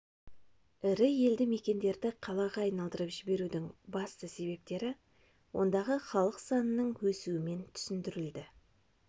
ірі елді-мекендерді қалаға айналдырып жіберудің басты себептері ондағы халық санының өсуімен түсіндірілді